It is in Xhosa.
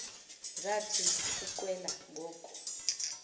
zathi ukuqwela ngoku